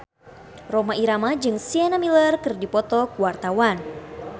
Rhoma Irama jeung Sienna Miller keur dipoto ku wartawan